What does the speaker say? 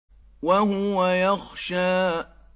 وَهُوَ يَخْشَىٰ